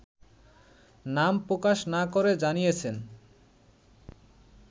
নাম প্রকাশ না করে জানিয়েছেন